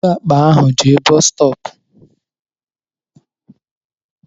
Bụrụ àkpà ahụ jee bọs stọọpu!